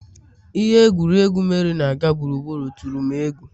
Ihe egwuregwu, Meri na-aga gburugburu tụrụ m egwu